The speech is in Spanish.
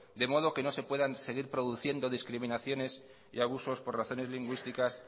de modo que no se puedan seguir produciendo discriminaciones y abusos por razones lingüísticas